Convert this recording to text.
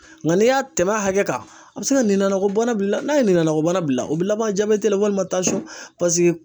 Nka n'i y'a tɛmɛ a hakɛ kan , a bɛ se ka minɔkɔbana bil'i la, n'a ye minɔkɔbana bil'i a u bɛ laban walima